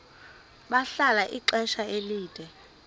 bahlala ixesha elide